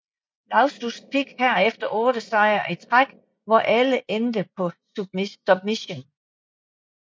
Lauzon fik herefter 8 sejre i træk hvor alle endte på submission